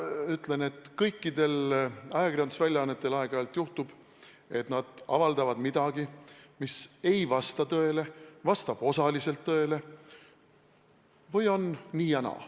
Ma ütlen, et kõikidel ajakirjandusväljaannetel aeg-ajalt juhtub, et nad avaldavad midagi, mis ei vasta tõele või vastab osaliselt tõele.